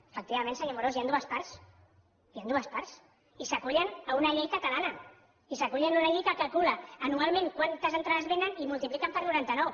efectivament senyor amorós hi han dues parts hi han dues parts i s’acullen a una llei catalana i s’acullen a una llei que calcula anualment quantes entrades venen i multipliquen per noranta nou